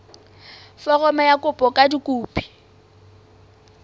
foromo ya kopo ka dikopi